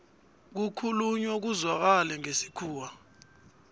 kukhulunywa kuzwakale ngesikhuwa